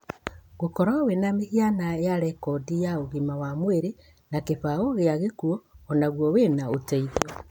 Gũkoro wĩna mĩhiana ya rekondi ya ũgima wa mwĩrĩ na kĩbaũ kĩa gĩkuo onaguo wĩna ũteithio.